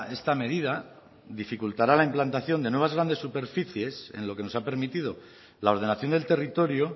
esta medida dificultará la implantación de nuevas grandes superficies en lo que nos ha permitido la ordenación del territorio